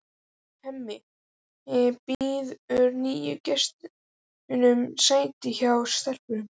Hemmi býður nýju gestunum sæti hjá stelpunum.